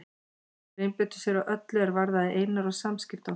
Þeir einbeittu sér að öllu er varðaði Einar og samskipti okkar.